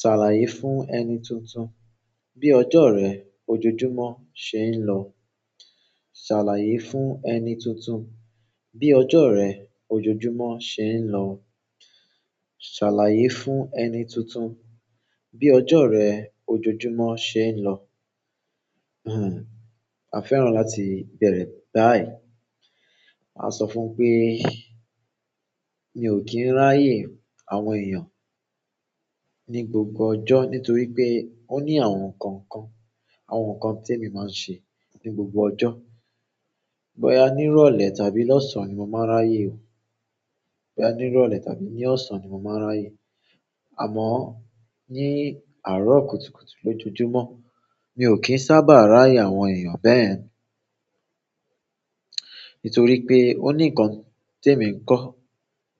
"Ṣàlàyé fún ẹni tuntun bí ọjọ́ rẹ ojoojúmọ́ ṣe ń lọ." "Ṣàlàyé fún ẹni tuntun bí ọjọ́ rẹ ojoojúmọ́ ṣe ń lọ." "Ṣàlàyé fún ẹni tuntun bí ọjọ́ rẹ ojoojúmọ́ ṣe ń lọ." A fẹ́ràn láti bẹ̀rẹ̀ báyìí. A sọ fún pé mi ò kí ń ráyè àwọn èèyàn ní gbogbo ọjọ́ nítorí pé ó ní àwọn nǹkan kan, àwọn nǹkan tí èmi máa ń ṣe ní gbogbo ọjọ́. Bọ́ya ní ìrọ̀lẹ́ tàbí lọ́sàn ní mo máa ń ráyè o. Bọ́ya ní ìrọ̀lẹ́ tàbí ní ọ̀sán ni mo máa ń ráyè. Àmọ́ ní àárọ̀ kùtùkùtù lójojúmọ́, mi ò kí ń sábà ráyè àwọn èèyàn bẹ́yẹ̀n. Nítorí pé ó ní nǹkan tí èmi ń kọ́.